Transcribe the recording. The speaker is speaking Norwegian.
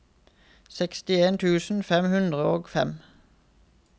sekstien tusen fem hundre og fem